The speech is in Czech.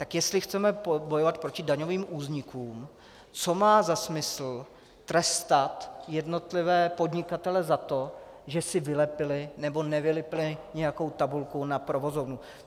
Tak jestli chceme bojovat proti daňovým únikům, co má za smysl trestat jednotlivé podnikatele za to, že si vylepili nebo nevylepili nějakou tabulku na provozovnu.